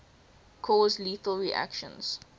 cause lethal reactions